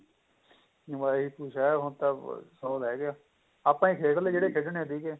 ਆਹੀ ਕੁੱਝ ਏ ਹੁਣ ਤਾਂ ਉਹ ਰਹਿ ਗਏ ਆਪਣੇ ਆਪਾਂ ਈ ਖੇਡ ਲੈ ਜਿਹੜੇ ਖੇਡਣੇ ਸੀਗੇ